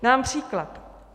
Dám příklad.